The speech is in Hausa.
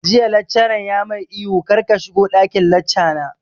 Jiya laccaran ya mai ihu 'kar ka shigo ɗakin lacca na'!